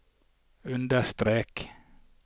understrek